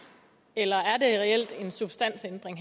eller er det her reelt en substansændring